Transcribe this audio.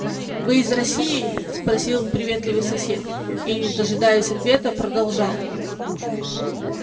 вы из россии спросил приветливый сосед и не дожидаясь ответа продолжал